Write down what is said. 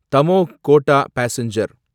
Damoh Kota passenger